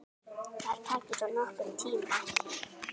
Það taki þó nokkurn tíma.